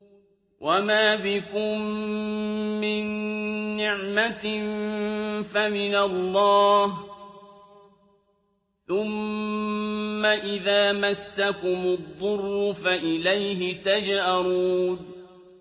وَمَا بِكُم مِّن نِّعْمَةٍ فَمِنَ اللَّهِ ۖ ثُمَّ إِذَا مَسَّكُمُ الضُّرُّ فَإِلَيْهِ تَجْأَرُونَ